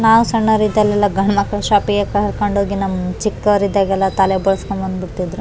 ನಾವು ಸಣ್ಣವರಿದಾಗ ಎಲ್ಲ ಗಂಡ್ ಮಕ್ಳು ಶೋಪ್ ಗೆ ಕರ್ಕೊಂಡು ಹೋಗಿ ನಮ್ಮ್ ಚಿಕ್ಕವರಿದ್ದಾಗಲ್ಲ ತಲೆ ಬೋಳ್ಸ್ಕೊಂಡ್ ಬಂದ್ಬಿಡ್ತಿದ್ರು.